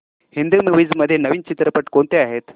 Hindi movies मध्ये नवीन चित्रपट कोणते आहेत